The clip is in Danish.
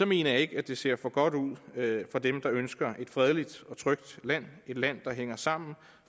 mener jeg ikke at det ser for godt ud for dem der ønsker et fredeligt og trygt land et land der hænger sammen og